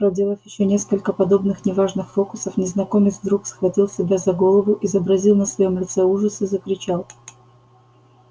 проделав ещё несколько подобных неважных фокусов незнакомец вдруг схватил себя за голову изобразил на своём лице ужас и закричал